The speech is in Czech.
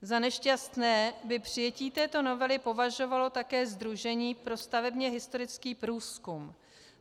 Za nešťastné by přijetí této novely považovalo také Sdružení pro stavebně historický průzkum.